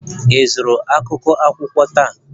Ị zụrụ akwụkwọ akụkọ taa?